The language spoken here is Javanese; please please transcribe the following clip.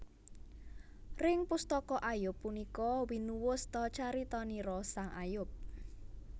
Ring pustaka Ayub punika winuwus ta caritanira sang Ayub